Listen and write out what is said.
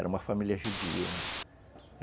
Era uma família judia, né?